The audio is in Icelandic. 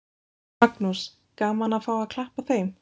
Magnús: Gaman að fá að klappa þeim?